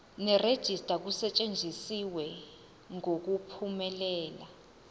nerejista kusetshenziswe ngokuphumelela